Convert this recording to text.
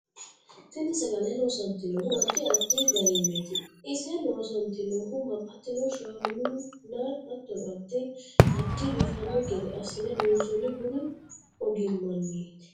Tini sagale loosantinohu addi addi addi gariniiti ise loosantinohu babbaxino shaanuni nna hattono addi addi biifano gede assine loonsooni budu ogimaniiti